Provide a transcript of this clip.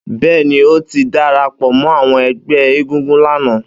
Bẹ́ẹ́ni, ó ti dara pọ̀ mọ́ àwọn ẹgbẹ́ egúngún lánàá